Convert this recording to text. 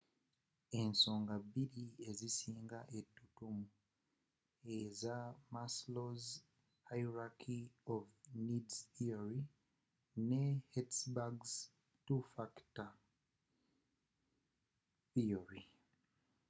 endowooza bbiri ezisinga etutumu eza maslow's hierarchy of needs theory ne hertzberg's two factor theory